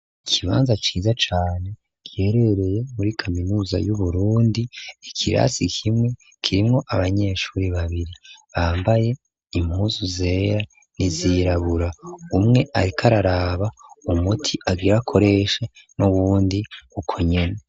ikibanza ciza cane giherereye muri kaminuza yu Burundi, ikirasi kimwe kirimo abanyeshuri babiri bambaye impuzu zera nizirabura umwe ariko araraba umuti agira koreshe n'ubundi ukonyene .